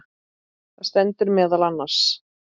Þar stendur meðal annars